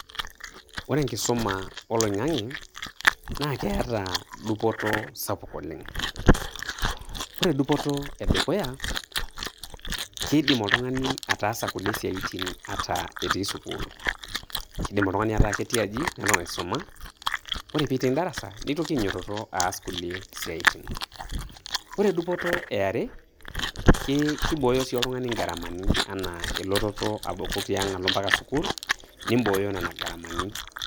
Ore enkisuma olaing'ang'e, naa keata dupoto sapuk oleng'. Ore dupoto edukuya, kiidim oltung'ani ataasa kulie siaitin ata etii sukul. Kidim oltung'ani ataa ketii aji neton aisoma, kore piiting darasa neitoki ainyototo aas kulie siaitin. Kore dupoto eare, kii kiboyo oltung'ani ingaramani anaa elototo apuku tiang' alo mpaka sukul, nimboyo nena garamani.